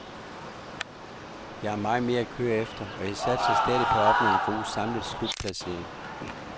Jeg har meget mere at køre efter, og jeg satser stadig på at opnå en god samlet slutplacering.